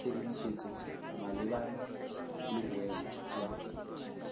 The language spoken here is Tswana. tshedimosetso malebana le boemo jwa